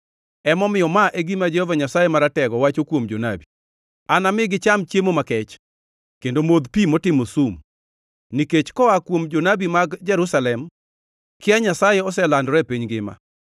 Emomiyo, ma e gima Jehova Nyasaye Maratego wacho kuom jonabi: “Anami gicham chiemo makech kendo modh pi motimo sum, nikech koa kuom jonabi mag Jerusalem kia Nyasaye oselandore e piny ngima.”